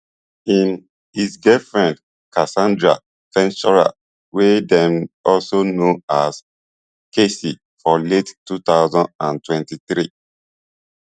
im his exgirlfriend casandra ventura wey dem also know as cassie for late two thousand and twenty-three